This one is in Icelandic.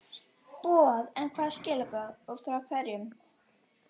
boð, en hvaða skilaboð og frá hverjum?